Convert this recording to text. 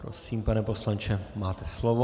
Prosím, pane poslanče, máte slovo.